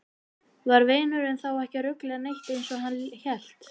Var vinurinn þá ekki að rugla neitt eins og hann hélt?